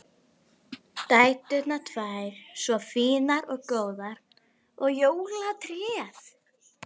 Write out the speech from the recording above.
Dæturnar tvær svo fínar og góðar og jólatréð!